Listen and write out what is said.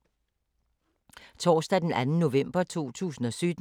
Torsdag d. 2. november 2017